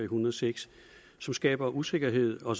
hundrede og seks som skaber usikkerhed og